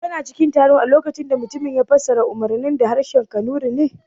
Shin kana cikin taron a lokacin da mutumin ya fassara umarnin da harshen kanuri ne?